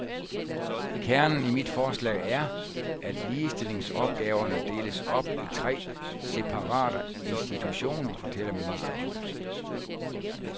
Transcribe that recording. Kernen i mit forslag er, at ligestillingsopgaverne deles op i tre separate institutioner, fortæller ministeren.